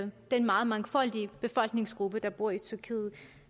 den meget mangfoldige befolkningsgruppe der bor i tyrkiet